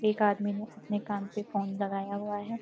एक आदमी ने अपने कान पे फोन लगाया हुआ है।